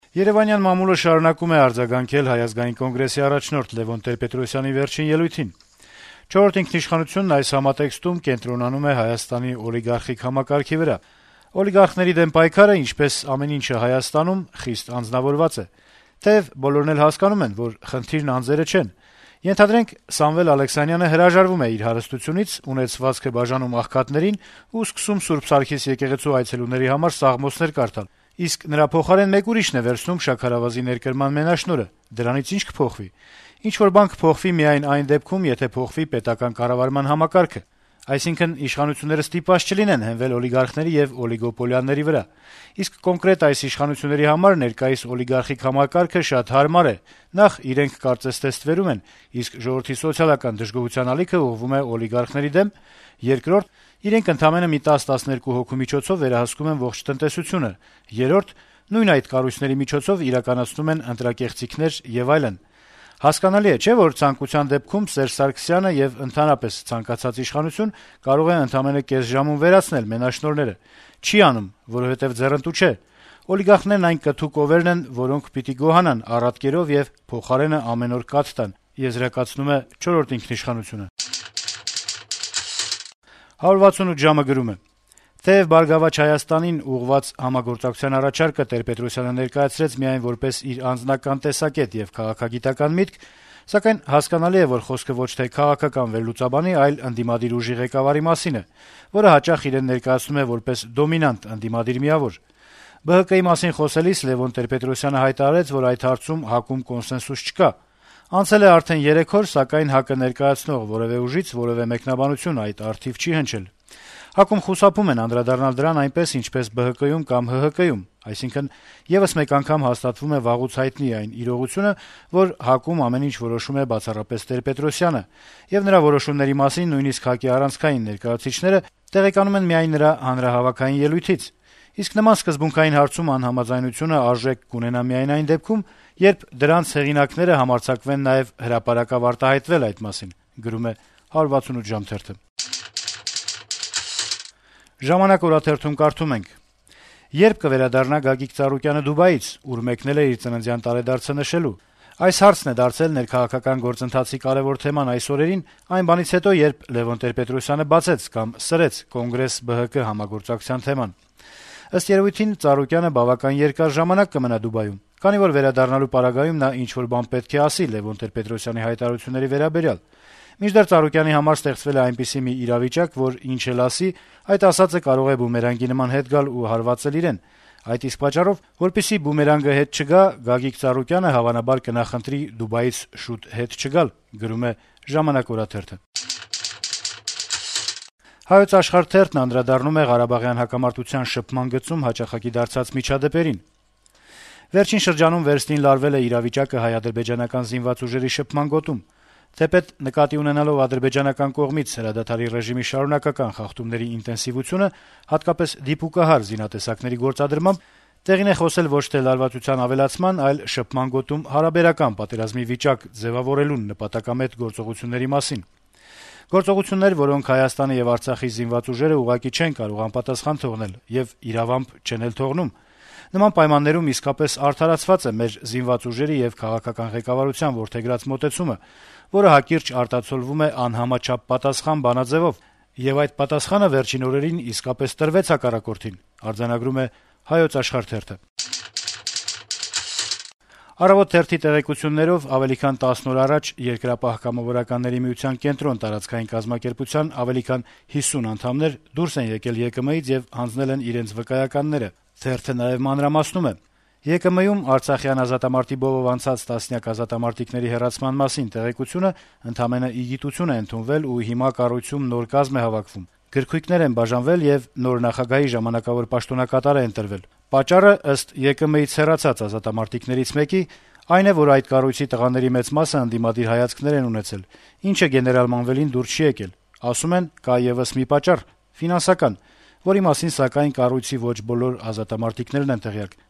Երեւանյան մամուլը շարունակում է արձագանքել Հայ ազգային կոնգրեսի առաջնորդ Լեւոն Տեր-Պետրոսյանի վերջին ելույթին: «Չորրորդ ինքնիշխանությունն» այս համատեքստում կենտրոնանում է Հայաստանի օլիգարխիկ համակարգի վրա. - «Օլիգարխների դեմ պայքարը (ինչպես ամեն ինչ Հայաստանում) խիստ անձնավորված է, թեեւ բոլորն էլ հասկանում են, որ խնդիրն անձերը չեն: Ենթադրենք` Սամվել Ալեքսանյանը հրաժարվում է իր հարստությունից, ունեցվածքը բաժանում աղքատներին ու սկսում Սուրբ Սարգիս եկեղեցու այցելուների համար սաղմոսներ կարդան, իսկ նրա փոխարեն մեկ ուրիշն է վերցնում շաքարավազի ներկրման մենաշնորհը, դրանից ի՞նչ պիտի փոխվի: Ինչ-որ բան կփոխվի միայն այն դեպքում, երբ փոխվի պետական կառավարման համակարգը, այսինքն` իշխանությունները ստիպված չլինեն հենվել օլիգարխների եւ օլիգոպոլիաների վրա: Իսկ կոնկրետ այս իշխանությունների համար ներկայիս օլիգարխիկ համակարգը շատ հարմար է. նախ` իրենք կարծես թե ստվերում են, իսկ ժողովրդի սոցիալական դժգոհության ալիքն ուղղվում է օլիգարխների դեմ, երկրորդը` իրենք ընդամենը մի 10-12 հոգու միջոցով վերահսկում են ողջ տնտեսությունը, երրորդ` նույն այդ կառույցների միջոցով իրականացնում են ընտրակեղծիքները եւ այլն: Հասկանալի է, չէ՞, որ ցանկության դեպքում Սերժ Սարգսյանը (եւ ընդհանրապես ցանկացած իշխանություն) կարող է ընդամենը կես ժամում վերացնել մենաշնորհները: Չի անում, որովհետեւ ձեռնտու չէ, օլիգարխներն այն «կթու կովերն» են, որոնք պիտի գոհանան առատ կերով եւ փոխարենը ամեն օր կաթ տան, իսկ տոն օրերին (ընտրություններից ընտրություն) նաեւ միս», - գրում է թերթը: «168 ժամ»-ը գրում է. - «Թեեւ «Բարգավաճ Հայաստանին» (ԲՀԿ) ուղղված համագործակցության առաջարկը Տեր-Պետրոսյանը ներկայացրեց միայն որպես «իր անձնական տեսակետ» եւ քաղաքագիտական միտք, սակայն հասկանալի է, որ խոսքը ոչ թե քաղաքական վերլուծաբանի, այլ ընդդիմադիր ուժի ղեկավարի մասին է, որը հաճախ իրեն ներկայացնում է որպես դոմինանտ ընդդիմադիր միավոր: ԲՀԿ-ի մասին խոսելիս Տեր-Պետրոսյանը հայտարարեց, որ այդ հարցում ՀԱԿ-ում կոնսենսուս չկա: Անցել է արդեն երեք օր, սակայն ՀԱԿ-ը ներկայացնող որեւէ ուժից որեւէ մեկնաբանություն այդ առթիվ չի հնչել: ՀԱԿ-ում խուսափում են անդրադառնալ դրան այնպես, ինչպես ԲՀԿ-ում կամ ՀՀԿ-ում: Այսինքն` եւս մեկ անգամ հաստատվում է վաղուց հայտնի այն իրողությունը, որ ՀԱԿ-ում ամեն ինչ որոշում է բացառապես Տեր-Պետրոսյանը, եւ նրա որոշումների մասին նույնիսկ ՀԱԿ-ի առանցքային ներկայացուցիչները տեղեկանում են միայն նրա հանրահավաքային ելույթից: Իսկ նման սկզբունքային հարցում անհամաձայնությունը արժեք կունենա միայն այն դեպքում, երբ դրանց հեղինակները համարձակվեն նաեւ հրապարակավ արտահայտվել այդ մասին»: «Ժամանակ»-ը գրում է. - «Ե՞րբ կվերադառնա Գագիկ Ծառուկյանը Դուբայից, ուր մեկնել է իր ծննդյան տարեդարձը նշելու: Այս հարցն է դարձել ներքաղաքական գործընթացի կարեւոր թեման այս օրերին, այն բանից հետո, երբ Լեւոն Տեր-Պետրոսյանը բացեց կամ սրեց Կոնգրես-ԲՀԿ համագործակցության թեման: Ըստ երեւույթին Ծառուկյանը բավական երկար ժամանակ կմնա Դուբայում, քանի որ վերադառնալու պարագայում նա ինչ-որ մի բան պետք է ասի Լեւոն Տեր-Պետրոսյանի հայտարարությունների վերաբերյալ: Մինչդեռ Ծառուկյանի համար ստեղծվել է այնպիսի մի իրավիճակ, որ ինչ էլ ասի, այդ ասածը կարող է բումերանգի նման հետ գալ ու հարվածել իրեն: Այդ իսկ պատճառով, որպեսզի բումերանգը հետ չգա, Գագիկ Ծառուկյանը հավանաբար կնախընտրի Դուբայից շուտ հետ չգալ»: «Հայոց աշխարհ»-ը անդրադառնում է ղարաբաղյան հակամարտության շփման գծում հաճախակի դարձած միջադեպերին. -« Վերջին շրջանում վերստին լարվել է իրավիճակը հայ-ադրբեջանական զինված ուժերի շփման գոտում։ Թեպետ, նկատի ունենալով ադրբեջանական կողմից հրադադարի ռեժիմի շարունակական խախտումների ինտենսիվությունը, հատկապես՝ դիպուկահար զինատեսակների գործադրմամբ, տեղին է խոսել ոչ թե լարվածության ավելացման, այլ շփման գոտում հարաբերական պատերազմի վիճակ ձեւավորելուն նպատակամետ գործողությունների մասին։ Գործողություններ, որոնք Հայաստանի եւ Արցախի զինված ուժերը ուղղակի չեն կարող անպատասխան թողնել եւ, իրավամբ, չեն էլ թողնում։ Նման պայմաններում իսկապես արդարացված է մեր զինված ուժերի եւ քաղաքական ղեկավարության որդեգրած մոտեցումը, որը հակիրճ արտացոլվում է «անհամաչափ պատասխան» բանաձեւով։ Եվ այդ պատասխանը վերջին օրերին իսկապես տրվեց հակառակորդին»։ «Առավոտ»-ի տեղեկություններով ավելի քան 10 օր առաջ Երկրապահ կամավորականների միության «Կենտրոն» տարածքային կազմակերպության ավելի քան 50 անդամներ դուրս են եկել ԵԿՄ-ից եւ հանձնել են իրենց վկայականները: Թերթը մանրամասնում է. - «ԵԿՄ-ում արցախյան ազատամարտի բովով անցած տասնյակ ազատամարտիկների հեռացման մասին տեղեկությունն ընդամենը ի գիտություն է ընդունվել, ու հիմա կառույցում «նոր կազմ» է հավաքվում, գրքույկներ են բաժանվել եւ ընտրվել է նոր նախագահի ժամանակավոր պաշտոնակատար: Պատճառն, ըստ ԵԿՄ-ից հեռացած ազատամարտիկներից մեկի, այն է, որ այդ կառույցի տղաների մեծ մասն ընդդիմադիր հայացքներ են ունեցել, ինչը դուր չի եկել գեներալ Մանվելին: Ասում են, կա եւս մի պատճառ՝ ֆինանսական, որի մասին, սակայն, կառույցի ոչ բոլոր ազատամարտիկներն են տեղյակ»: